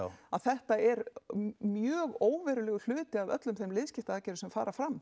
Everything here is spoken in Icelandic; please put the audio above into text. þetta er mjög óverulegur hluti af öllum þeim liðskiptaaðgerðum sem fara fram